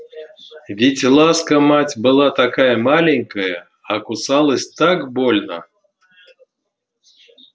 ведь ласка мать была такая маленькая а кусалась так больно